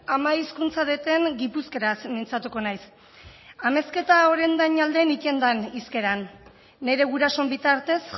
ama hizkuntza deten gipuzkeraz mintzatuko naiz amezketa orendain alden itten den hizkeran nire gurasoen bitartez